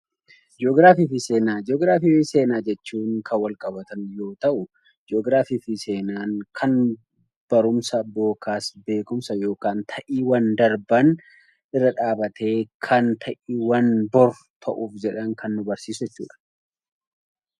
Jii'oogiraafii fi seenaa jechuun kan walqabatan yoo ta'u, jii'oogiraafii fi seenaan barumsa yookaan beekumsa kan ta'iiwwan darban irra dhaabbatee kan ta'iiwwan bor ta'uuf jiran kan nu barsiisudha.